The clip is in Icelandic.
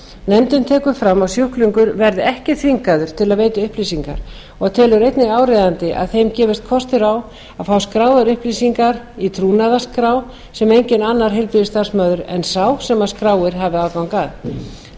nefndin tekur fram að sjúklingar verði ekki þvingaðir til að veita upplýsingar og telur einnig áríðandi að þeim gefist kostur á að fá skráðar upplýsingar í trúnaðarskrá sem enginn annar heilbrigðisstarfsmaður en sá sem skráir hafi aðgang að nefndin telur